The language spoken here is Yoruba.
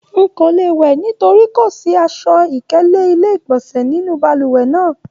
Nko le wẹ nítorí kò sí aṣọ-ikele ilé-igbọnsẹ nínú balùwẹ̀ náà.